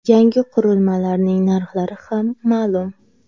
Yangi qurilmalarning narxlari ham ma’lum .